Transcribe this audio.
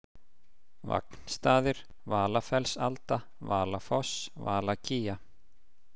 Vagnstaðir, Valafellsalda, Valafoss, Valakía